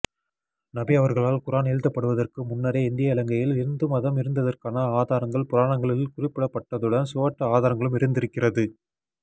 நபி அவர்களால் குர்ஆன் எழுதப்படுவதற்கு முன்னரே இந்திய இலங்கையில் இந்துமதம் இருந்ததற்கான ஆதாரங்கள் புராணங்களில் குறிப்பிடப்பட்டதுடன் சுவட்டு ஆதாரங்களும் இருந்திருக்கிறது